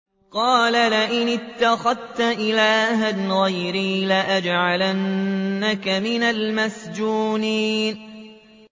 قَالَ لَئِنِ اتَّخَذْتَ إِلَٰهًا غَيْرِي لَأَجْعَلَنَّكَ مِنَ الْمَسْجُونِينَ